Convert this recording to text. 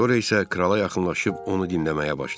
Sonra isə krala yaxınlaşıb onu dinləməyə başladı.